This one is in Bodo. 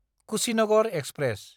कुशिनगर एक्सप्रेस